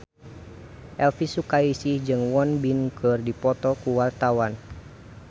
Elvi Sukaesih jeung Won Bin keur dipoto ku wartawan